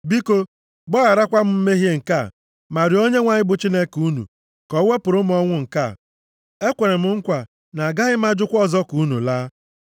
Biko gbagharakwa m mmehie nke a, ma rịọọ Onyenwe anyị bụ Chineke unu ka o wepụrụ m ọnwụ nke a. Ekwere m nkwa na agaghị m ajụkwa ọzọ ka unu laa.”